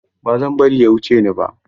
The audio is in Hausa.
Ba zan bari ya cuce ni ba.